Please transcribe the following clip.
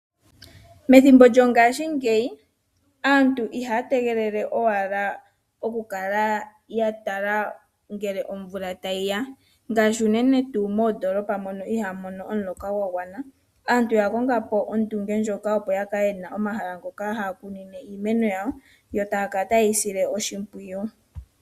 Methimbo lyongashingeyi aantu ihaya tegelele owala okukala ya tala ngele omvula tayi ya, ngaashi unene tuu moondolopa mono ihamu mono omuloka gwa gwana. Aantu oya konga po ondunge ndjoka opo ya kale yena omahala ngoka haya kunine iimeno yawo. Yo taya kala taye yi sile oshimpwiyu.